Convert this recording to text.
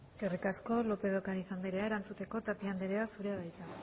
eskerrik asko lópez de ocariz andrea erantzuteko tapia andrea zurea da hitza